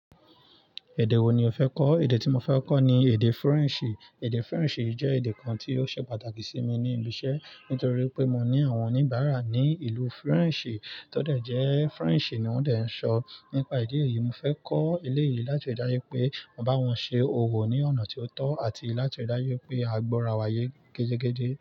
Èdè wo ni o fẹ́ kọ́? Èdè tí mo fẹ́ kọ́ ni èdè Faransé. Èdè French jẹ́ èdè kan tí ó ṣe pàtàkì sí mi ní ibi iṣẹ́, nítorí pé mo ní àwọn oníbàárà ní ìlú French tó dẹ̀ jẹ́ French ni wọ́n dẹ̀ ń sọ. Nípa idi yìí, mo fẹ́ kọ́ eleyìí láti ri dájú pé mo bá wọn ṣe òwo ní ọ̀nà tí ó tọ́ àti láti ri dájú pé àgbo ara wa yé gejegeje.